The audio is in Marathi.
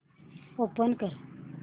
ओपन कर